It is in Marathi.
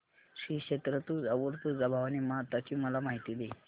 श्री क्षेत्र तुळजापूर तुळजाभवानी माता ची मला माहिती दे